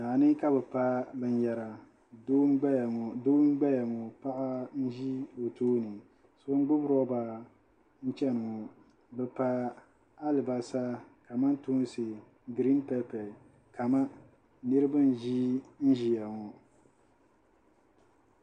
Daa ni ka bɛ pa binyɛra doo m-gbaya ŋɔ paɣa n-ʒi o tooni so n-gbubi rɔba n-chani ŋɔ bɛ pa alibasa kamantoonsi giriin pɛpɛ kama niriba n-ʒinʒiya ŋɔ.